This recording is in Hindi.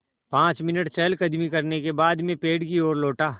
पाँच मिनट चहलकदमी करने के बाद मैं पेड़ की ओर लौटा